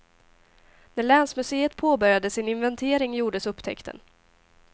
När länsmuseet påbörjade sin inventering gjordes upptäckten.